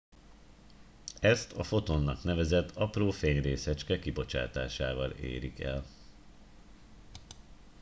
ezt a fotonnak nevezett apró fényrészecske kibocsátásával érik el